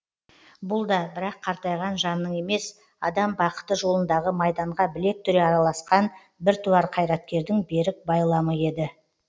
бұл да бірақ қартайған жанның емес адам бақыты жолындағы майданға білек түре араласқан біртуар қайраткердің берік байламы еді